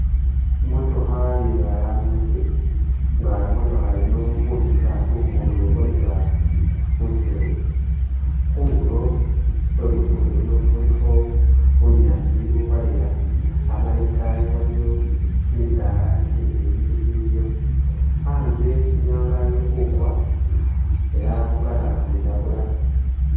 Imotokha iye balambuzi nga imotokha iyino ili khubirira khu lugudo ulwobira mwisiru khundulo khwe lugudo uluno khulikho bunyaasi ubwaleya amala itaayi waliyo kimisaala kimileyi kikiliyo, anze inyanga ili khukwa ela bukana khwilabula.